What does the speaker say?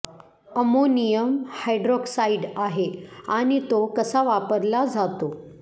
ammonium hydroxide आहे आणि तो कसा वापरला जातो